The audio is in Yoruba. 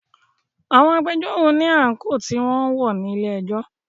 Àwọn agbẹjọ́rò ní àńkò tí wọn ń wọ̀ ní ilé ẹjọ́.